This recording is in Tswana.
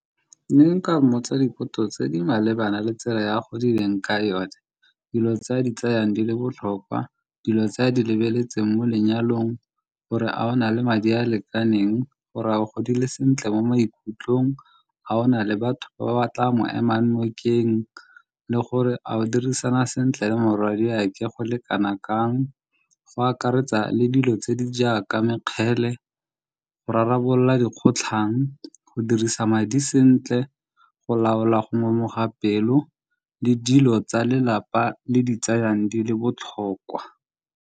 Ne nka mmotsa dipotso tse di malebana le tsela e a godileng ka yone, dilo tse a di tseyang di le botlhokwa, dilo tse a di lebeletseng mo lenyalong gore a o na le madi a a lekaneng, gore a godile sentle mo maikutlong, a ona le batho ba ba tla mo ema nokeng le gore a go dirisana sentle le morwadiake go le kana kang. Go akaretsa le dilo tse di jaaka mekgele go rarabolola dikgotlhang, go dirisa madi sentle, go laola go ngomoga pelo le dilo tsa lelapa le di tsayang di le botlhokwa.